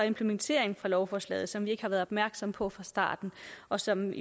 implementeringen af lovforslaget som vi ikke har været opmærksomme på fra starten og som